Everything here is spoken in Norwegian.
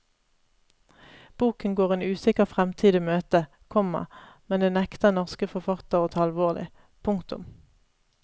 Boken går en usikker fremtid i møte, komma men det nekter norske forfattere å ta alvorlig. punktum